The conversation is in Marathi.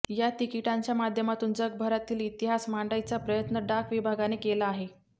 या तिकीटांच्या माध्यमातून जगभरातील इतिहास मांडण्याचा प्रयत्न डाक विभागाने केला आहे